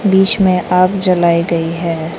बीच में आग जलाई गई है।